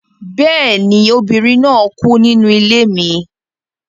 Bẹ́ẹ̀ ni, obìnrin náà kú nínú ilé mi